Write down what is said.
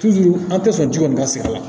an tɛ sɔn ji kɔni ka sigi a la